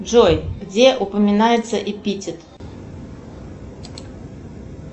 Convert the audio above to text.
джой где упоминается эпитет